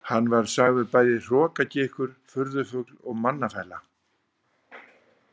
Hann var sagður bæði hrokagikkur, furðufugl og mannafæla.